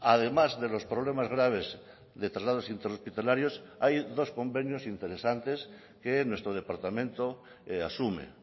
además de los problemas graves de traslados interhospitalarios hay dos convenios interesantes que nuestro departamento asume